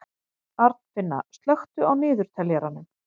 Arnfinna, slökktu á niðurteljaranum.